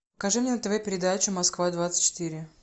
покажи мне на тв передачу москва двадцать четыре